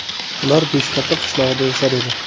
Ular Beshkapa qishlog‘ida yashar edi.